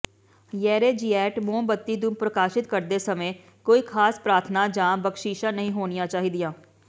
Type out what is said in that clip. ਯੇਰੈਜਿਏਟ ਮੋਮਬੱਤੀ ਨੂੰ ਪ੍ਰਕਾਸ਼ਤ ਕਰਦੇ ਸਮੇਂ ਕੋਈ ਖਾਸ ਪ੍ਰਾਰਥਨਾ ਜਾਂ ਬਖਸ਼ਿਸ਼ਾਂ ਨਹੀਂ ਹੋਣੀਆਂ ਚਾਹੀਦੀਆਂ